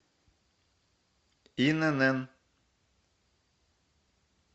инн